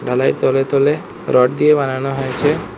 ঢালাই তলে তলে রড দিয়ে বানানো হয়েছে।